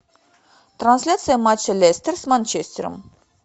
трансляция матча лестер с манчестером